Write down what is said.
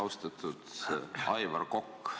Austatud Aivar Kokk!